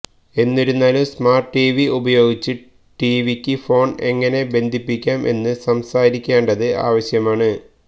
എന്നിരുന്നാലും smart TV ഉപയോഗിച്ച് ടിവിയ്ക്ക് ഫോൺ എങ്ങനെ ബന്ധിപ്പിക്കാം എന്ന് സംസാരിക്കേണ്ടത് ആവശ്യമാണ്